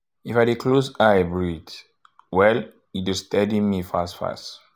if i dey close eye breathe um well e um dey stedy um me fast fast.